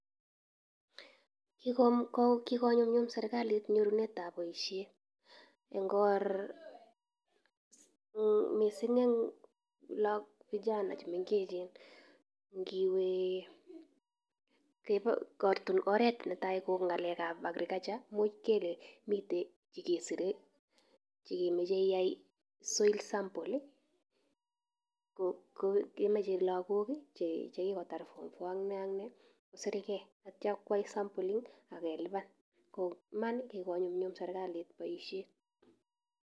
Kikonyumnyum serkalit nyonunet ab boisiet missing en vijana chemengechen, netai ko ng'alek ab agriculture, imuch kele miten chekemoche keyai soil sample kemoche lagok chekikoyai form four kosirgei akoyai sampling akelipan koiman kokonyumnyum serkalit boisiet.